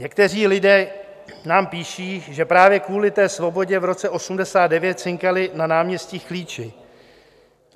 Někteří lidé nám píší, že právě kvůli té svobodě v roce 1989 cinkali na náměstích klíči.